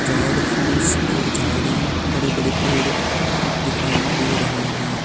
झाड़ फुस और झाड़ी बड़े-बड़े पेड़ दिखाई दे रहे है।